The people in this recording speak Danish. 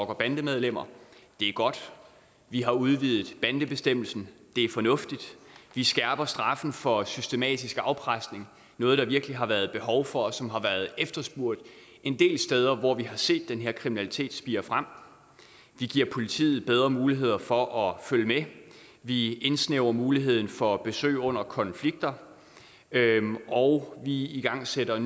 og bandemedlemmer det er godt vi har udvidet bandebestemmelsen det er fornuftigt vi skærper straffen for systematisk afpresning noget der virkelig har været behov for og som har været efterspurgt en del steder hvor vi har set den her kriminalitet spire frem vi giver politiet bedre muligheder for at følge med vi indsnævrer muligheden for besøg under konflikter og vi igangsætter